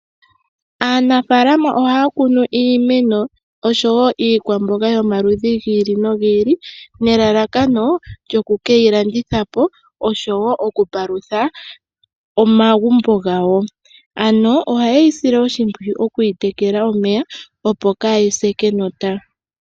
Aanafaalama oha ya kunu iimeno osho woo iikwamboga yo maludhi gi ili nogi ili nelalakano lyoku ke yilandithapo osho woo okupalutha omagumbo gawo, ano oha yeyi sile oshimpwiyu oku yi tekela omeya opo kaa yi se kenota.